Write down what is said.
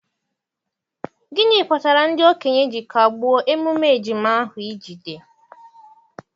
gịnị kpatara ndị okenye ji kagbuo emume ejima ahụ ijide?